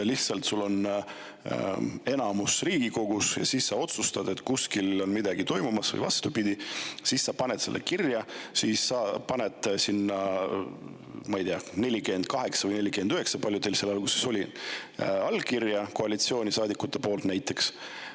Lihtsalt, sul on Riigikogus enamus, sa otsustad, et kuskil on midagi toimumas või vastupidi, siis sa paned selle kirja ja paned sinna, ma ei tea, 48 või 49 – palju teil seal alguses oli – allkirja koalitsioonisaadikute poolt näiteks.